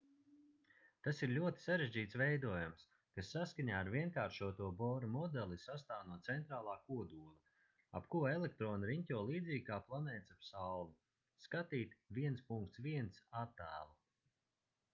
tas ir ļoti sarežģīts veidojums kas saskaņā ar vienkāršoto bora modeli sastāv no centrālā kodola ap ko elektroni riņķo līdzīgi kā planētas ap sauli sk 1.1. attēlu